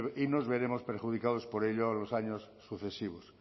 y nos veremos perjudicados por ello los años sucesivos